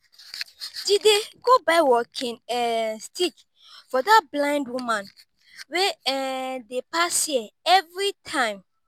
jide go buy walking um stick for dat blind woman wey um dey pass here everytime